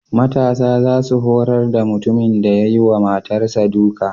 Matasa za su horar da mutumin da ya yi wa matarsa duka.